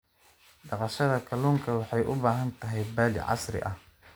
Dhaqashada kalluunka waxay u baahan tahay balli casri ah.